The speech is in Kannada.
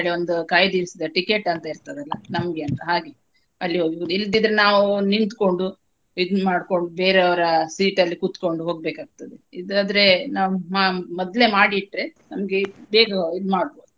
ಹೇಳಿ ಒಂದ್ ಕಾಯ್ದಿರಿಸಿದ ticket ಅಂತ ಇರ್ತದಲ್ಲ ನಮ್ಗೆ ಅಂತಾ ಹಾಗೆ ಅಲ್ಲಿ ಹೋಗಬೋದು. ಇಲ್ಲದಿದ್ರೆ ನಾವು ನಿಂತಕೊಂಡು ಇದ್ ಮಾಡ್ಕೊಂಡು ಬೇರೆಯವ್ರ seat ಅಲ್ಲಿ ಕುತ್ಕೋಂಡು ಹೊಗ್ಬೇಕಾಗ್ತದೆ ಇದಾದ್ರೆ ನಾವ್ ನಮ್ ಮೊದ್ಲೆ ಮಾಡಿ ಇಟ್ರೆ ನಮ್ಗೆ ಬೇಗ ಇದ್ ಮಾಡ್ಬಹುದು.